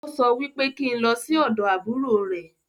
Ó sọ wípé kí n lọ sí ọ̀dọ̀ àbúrò rẹ̀